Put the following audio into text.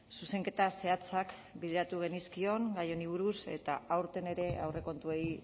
zuzenketa zehatzak bideratu genizkion gai honi buruz eta aurten ere aurrekontuei